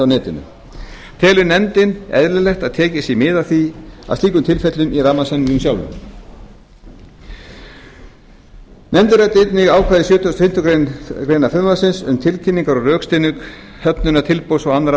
netinu telur nefndin eðlilegt að tekið sé mið af slíkum tilfellum í rammasamningnum sjálfum nefndin ræddi einnig ákvæði sjötugasta og fimmtu grein frumvarpsins um tilkynningu og rökstuðning höfnunar tilboðs og annarra